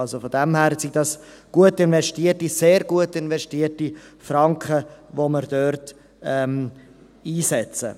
Aus diesem Grund sind das gut investierte, sehr gut investierte Franken, die wir dort einsetzen.